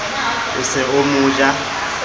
o se o mo ja